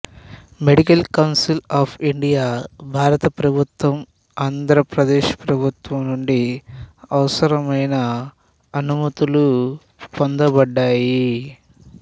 medical council of India భారత ప్రభుత్వం ఆంధ్రప్రదేశ్ ప్రభుత్వం నుండి అవసరమైన అనుమతులు పొందబడ్డాయి